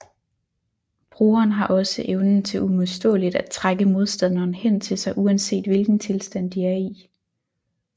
Brugeren har også evnen til uimodståligt at trække modstanderen hen til sig uanset hvilken tilstand de er i